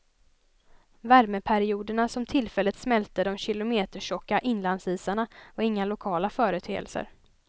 Värmeperioderna, som tillfälligt smälte de kilometertjocka inlandsisarna, var inga lokala företeelser.